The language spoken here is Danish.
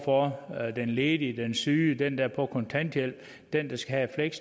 for den ledige den syge den der er på kontanthjælp den der skal have et